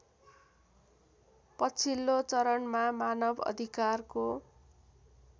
पछिल्लो चरणमा मानवअधिकारको